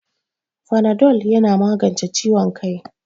Fanadol yana magance ciwon kai